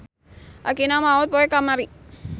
Akina maot poe kamari.